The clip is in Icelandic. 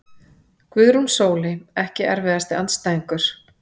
Guðrún Sóley Ekki erfiðasti andstæðingur?